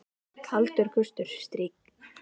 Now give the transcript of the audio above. Kaldur gustur strýkst við andlit okkar.